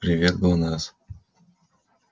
привет глонассс